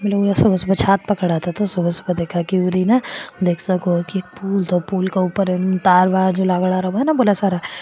लोग सुबह सुबह छात प खड़ा था एक पूल पूल के ऊपर तार वॉर लगेडा रव न बोला सारा --